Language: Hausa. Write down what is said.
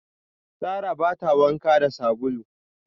Sarrah ba ta wanka da sabulu.